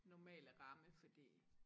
Normale ramme fordi